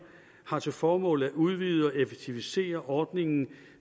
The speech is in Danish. har til formål at udvide og effektivisere ordningen